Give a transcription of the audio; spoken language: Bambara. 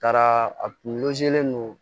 Taara a kun